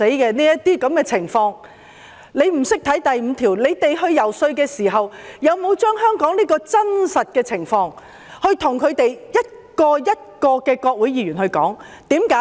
他們不懂得第5條的內容，那麼，當他們遊說時，有否把香港的真實情況向美國國會議員逐一解說。